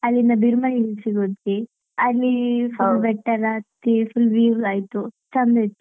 ಅಲ್ಲಿಂದ Burma Hills ಗೆ ಹೋದ್ವಿ ಅಲ್ಲಿ full ಬೆಟ್ಟ ಎಲ್ಲಾ ಹತ್ವಿ full view ಆಯ್ತು ಚಂದ ಇತ್ತು.